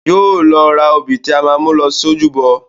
Yóò lọ ra òbí tí a máa mú lọ sí ojúbọ